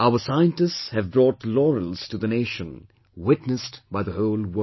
Our scientists have brought laurels to the nation, witnessed by the whole world